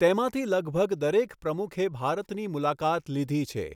તેમાંથી લગભગ દરેક પ્રમુખે ભારતની મુલાકાત લીધી છે.